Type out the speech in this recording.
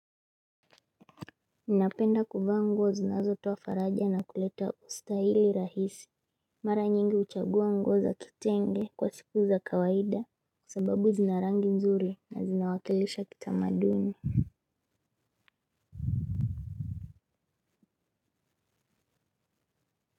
Napenda kuvaa nguo zinazotoa faraja na kuleta ustahili rahisi. Mara nyingi huchagua nguo za kitenge kwa siku za kawaida. Kwa sababu zina rangi nzuri na zinawakilisha kitamaduni.